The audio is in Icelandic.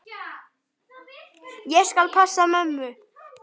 Ég skal passa mömmu.